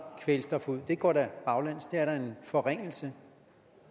kvælstof ud det går da baglæns det er da en forringelse